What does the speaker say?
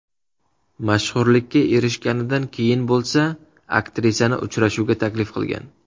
Mashhurlikka erishganidan keyin bo‘lsa, aktrisani uchrashuvga taklif qilgan.